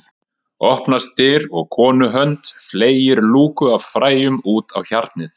Opnast dyr og konu hönd fleygir lúku af fræjum út á hjarnið